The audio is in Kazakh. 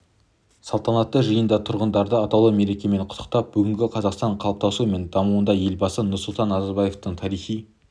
салтанатты жиында тұрғындарды атаулы мерекемен құттықтап бүгінгі қазақстанның қалыптасуы мен дамуындағы елбасы нұрсұлтан назарбаевтың тарихи